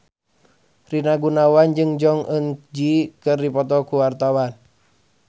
Rina Gunawan jeung Jong Eun Ji keur dipoto ku wartawan